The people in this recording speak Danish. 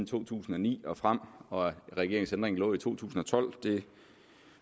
to tusind og ni og frem og at regeringens ændring lå i to tusind og tolv